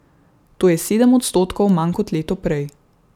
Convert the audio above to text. To je sedem odstotkov manj kot leto prej.